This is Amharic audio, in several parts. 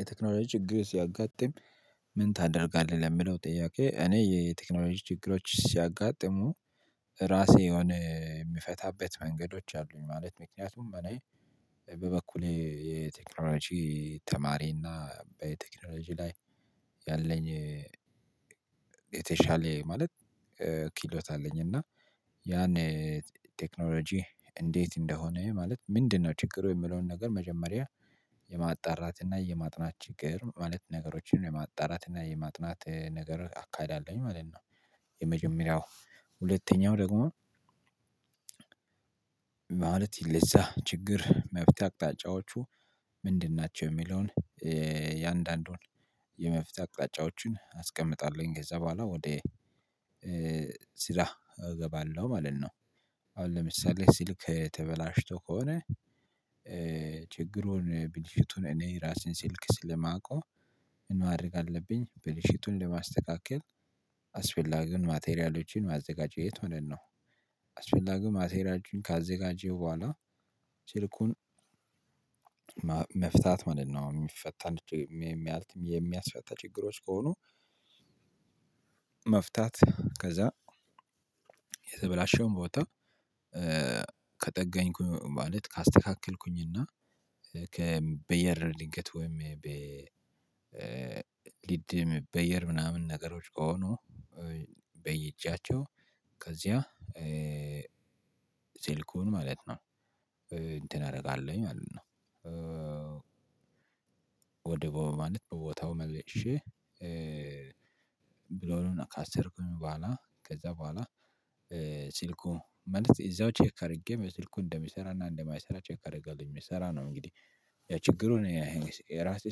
የቴክኖሎጂ ችግር ሲያጋጥም ምን ታደርጋለህ ለሚለው ጥያቄ እኔ የቴክኖሎጂ ችግሮች ሲያጋጥሙ እራሴ የሆነ የሚፈታበት መንገዶች አሉ። ማለት ምክንያትም እኔ በበኩሌ የቴክኖሎጂ ተማሪ እና በቴክኖሎጂ ላይ ያለኝ የተሻለ ማለት ክህሎት አለኝ እና ያን ቴክኖሎጂ እንዴት እንደሆነ ማለት ምን ነው ችግሩ የሚለው ነገር መጀመሪያ የማጣራት እና የማጥናት ችግር ማለት ነገሮችን የማጣራት እና የማጥናት ነገር አካሂዳለሁኝ ማለት ነው የመጀመሪያው። ሁለተኛው ደግሞ ማለት ይለሳ ችግር መፍታት አቅጣጫዎቹ ምን እናችሁ የሚለው እያንዳንዱን የመፍትሄ አቅጣጫዎቹን አስቀምጣለሁኝ። ከዛ በኋላ ወደ ስራ እገባለሁ ማለት ነው። ለምሳሌ ሲልክ ተበላሽቶ ከሆነ ችግሩን ብልሽቱን እኔ እራሴን ሲልክ ስለማውቀው ምን ማድረግ አለብኝ ብልሽቱን ለማስተካከል አስፈላጊውን ማቴሪያሎችን ማዘጋጀት ማለት ነው። አስፈልጋው ማቴሪያሎች ካዘጋጀው በኋላ ሲልኩን መፍታት ማለት ነው አሁን ሚፈታ የሚስፈታ ችግሮች ከሆኑ መፍታት ከዛ የተበላሸውን ቦታ ከጠገኝኩ ማለት ካስተካክልኩኝ እና ከበየር ድገት ወይም ሊድ የሚበየድ ምናምን ነገሮች ከሆኑ በይጃቸው ከዚያ ስልኩን ማለት ነው እንተን አደርጋለሁኝ ማለት ነው። ወደ በቦ ማለት በቦታው መልሸ ብሎን ከአስርኩኝ በኋላ ከዛ በኋላ ሲልኩ ማለት እዛው ቸከ አድርጌም ስልኩ እንደሚሰራ እና እንደማይሰራ ቸከ አረጋለሁኝ። የሚሰራ ነው እንግዲህ የችግሩን እራሴ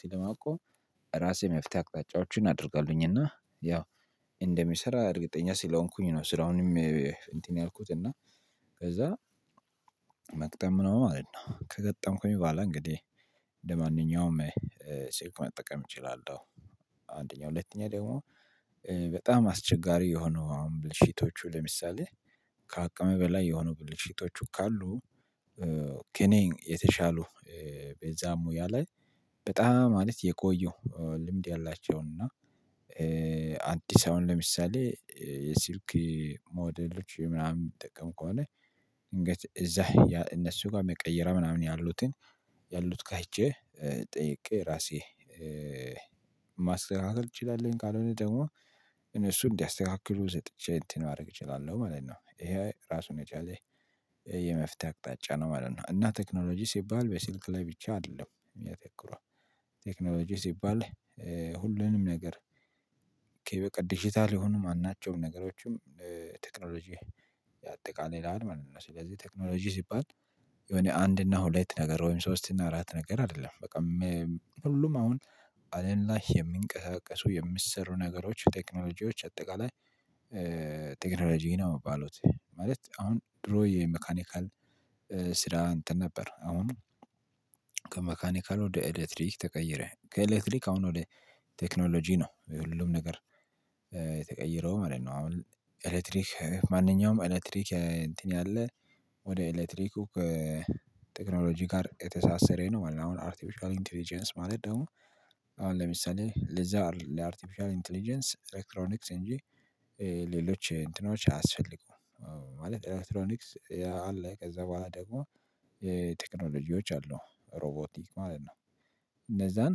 ስለማውቀው እራሴ መፍታት አቅጣጫዎችን አደርግልኝ እና ያው እንደሚሰራ እረግጠኛ ስለሆኩኝ ነው ስራውንም እንትን ያልኩት እና ከዛ መግጠም ነው ማለት ነው። ከገጠምኩኝ በኋላ እንግዲህ እንደማንኛውም ስልኩን መጠወም እችላለሁ አንድኛ ሁለተኛ ደግሞ በጣም አስቸጋሪ የሆነው ብልሽቶች ለምሳሌ ከአቅም በላይ የሆኑ ብልሽቶች ካሉ ከኔ የተሻሉ በዛሙ ያለ በጣም ማለት የቆዩ ልምድ ያላቸው እና አዲስ አሁን ለምሳሌ የስልክ ሞዴሎች ምናምን ሚጠቀም ከሆነ ድንገት እዛ እነሱ ጋር መቀየሪያ ምናምን ያሉትን ያሉት ጋ ሄጀ ጠይቄ እራሴ ማስተካከል እችላለሁ ካልሆነ ደግሞ እነሱ እንዲያስተካክሉ ሰጥጨ እንትን ማድረግ እችላለሁ ማለት ነው። ይህ እራሱ የቻለ የመፍትሄ አቅጣጫ ነው ማለት ነው። እና ቴክኖሎጂ ሲባል በስልክ ላይ ብቻ አደለም። የሚያተኩረው ቴክኖሎጂ ሲባል ሁሉንም ነገር ከ በቃ ድጂታል የሆኑ ማናቸውም ነገሮች ቴክኖሎጂ ያጠቃልላል ማለት ነው። ስለዚህ ቴክኖሎጂ ሲባል የሆነ አንድ እና ሁለት ነገር ወይም ሶስት እና አራት ነገር አደለም። በጣም ሁሉም አሁን አየን ላይ የሚንቀሳቀሱ የሚሰሩ ነገሮች ቴክኖሎጂዎች አጠቃላይ ቴክኖሎጂ ነው እሚባሉት። ማለት አሁን እድሮ የመካኒካል ስራ እንትን ነበር አሁን ከመካኒካል ወደ ኤሌክትሪክ ተቀየረ። ከኤሌክትሪክ አሁን ወደ ቴክኖሎጂ ነው። ሁሉም ነገር የተቀየረው ማለት ነው። አሁን ኤሌክትሪክ ማንኛውም ኤሌክትሪክ እንትን ያለው ወደ ኤሌክትሪክው ቴክኖሎጂ ጋር የተሳሰረ ነው ማለት ነው አርቲፊሻል ኢንትሊጀንስ ማለት ደግሞ ለምሳሌ ልዛ አርቲፊሻል ኢንትሊጀንስ ኤሌክትሮኒክስ እንጂ ሌሎች እንትኖች አያስፈግም ማለት ኤሌክትሮኒክስ ያለ ከዛ በኋላ ደግሞ ቴክኖሎጂዎች አሉ። ሮቦቲክ ማለት ነው። እነዛን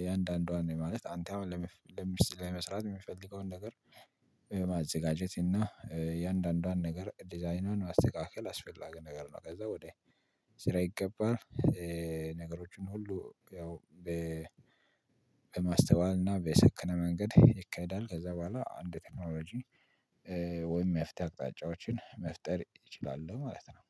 እያንዳንዶን ማለት አንተ አሁን ለምስራጥ የሚፈልገውን ነገር ማዘጋጀት እና እያንዳንዷን ነገር ዲዛይኗን ማስተካከል አስፈልጋ ነገር ነው ከዛ ወደ ስራ ይገባል። ነገሮችን ሁሉ ያው በመስተዋል እና በሰክነ መንገድ ይካይዳል። ከዛ በኋላ አንድ ቴክኖሎጂ ወይም መፍታት አቅጣጫዎችን መፍጠር ይችላሉ ማለት ነው።